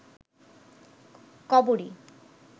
কবরী